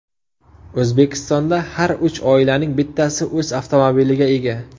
O‘zbekistonda har uch oilaning bittasi o‘z avtomobiliga ega.